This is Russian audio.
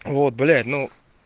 вот блять ну